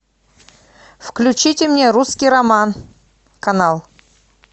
включите мне русский роман канал